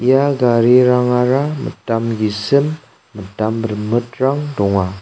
ia garirangara mitam gisim mitam rimitrang donga.